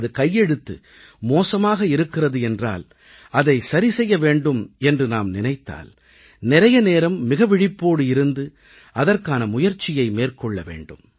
நமது கையெழுத்து மோசமாக இருக்கிறது என்றால் அதை சரி செய்ய வேண்டும் என்று நாம் நினைத்தால் நிறைய நேரம் மிக விழிப்போடு இருந்து அதற்கான முயற்சியை மேற்கொள்ள வேண்டும்